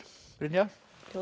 Brynja